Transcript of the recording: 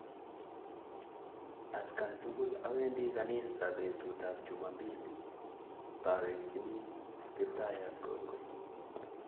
Atkan tukul awendi ganisa petut ap chumombili paawekchini Kiptaiyat kongoi.